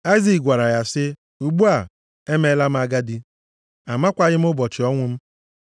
Aịzik gwara ya sị, “Ugbu a, emeela m agadi, amakwaghị m ụbọchị ọnwụ m.